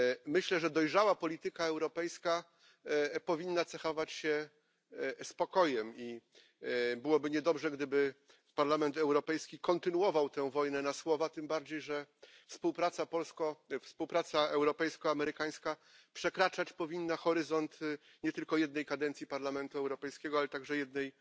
Myślę, że dojrzała polityka europejska powinna cechować się spokojem i byłoby niedobrze, gdyby Parlament Europejski kontynuował tę wojnę na słowa, tym bardziej, że współpraca europejska amerykańska przekraczać powinna horyzonty nie tylko jednej kadencji Parlamentu Europejskiego, ale także jednej